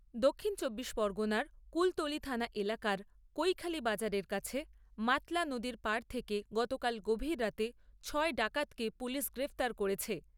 দক্ষিণ চব্বিশ পরগণার কুলতলি থানা এলাকার কৈখালি বাজারের কাছে, মাতলা নদীর পাড় থেকে গতকাল গভীর রাতে ছয় ডাকাতকে পুলিশ গ্রেপ্তার করেছে।